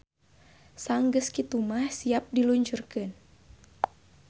Sanggeus kitu mah siap di luncurkeun.